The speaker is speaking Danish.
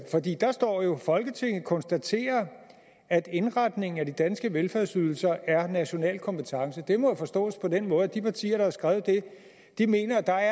fordi der står jo folketinget konstaterer at indretningen af de danske velfærdsydelser er national kompetence det må jo forstås på den måde at de partier der har skrevet det mener at der